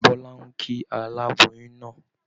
Bọ́lá ń kí aláboyún náà